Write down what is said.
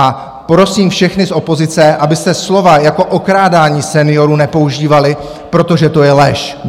A prosím všechny z opozice, abyste slova jako okrádání seniorů nepoužívali, protože to je lež!